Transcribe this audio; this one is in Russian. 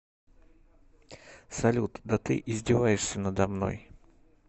салют да ты издеваешься надо мной